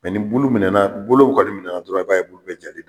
ni bulu minɛna bolow kɔni minɛna dɔrɔn i b'a ye bulu bɛ jali da